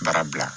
Baara bila